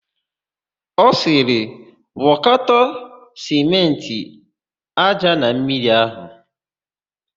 Ọ sịrị, "gwọkọta sịmentị, ája na mmiri áhụ̀"!